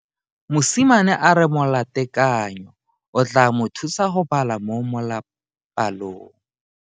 Mosimane a re molatekanyô o tla mo thusa go bala mo molapalong.